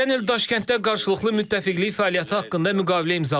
Keçən il Daşkənddə qarşılıqlı müttəfiqlik fəaliyyəti haqqında müqavilə imzaladıq.